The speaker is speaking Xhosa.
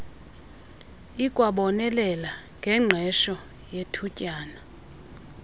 ikwabonelela ngengqesho yethutyana